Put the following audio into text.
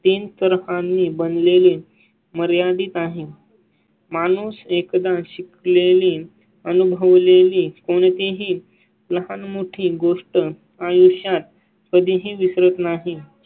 तीन तरफाणी बनलेले मर्यादित आहे. माणूस एकदा शिकलेली अनुभवलेली कोणतीही लहान मोठी गोष्ट आयुष्यात कधीही विसरत नाही.